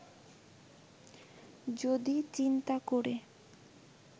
যদি চিন্তা করে